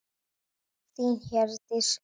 Þín, Hjördís Rut.